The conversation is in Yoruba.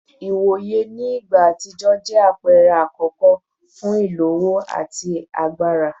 Iwoye ni igba atijọ jẹ apẹrẹ akọkọ fun ilowo ati agbara